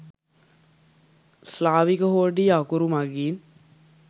ස්ලාවික හෝඩියේ අකුරු මගින්